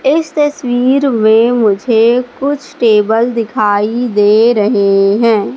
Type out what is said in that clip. इस तस्वीर में मुझे कुछ टेबल दिखाई दे रहे हैं।